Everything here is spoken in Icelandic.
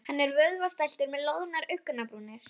Hann er vöðvastæltur með loðnar augnabrúnir.